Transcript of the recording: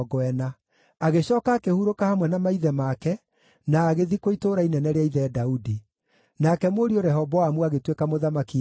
Agĩcooka akĩhurũka hamwe na maithe make, na agĩthikwo itũũra inene rĩa ithe Daudi. Nake mũriũ Rehoboamu agĩtuĩka mũthamaki ithenya rĩake.